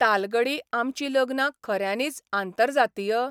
तालगडी आमची लग्नां खऱ्यांनीच आंतरजातीय?